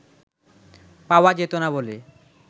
পাওয়া যেত না বলে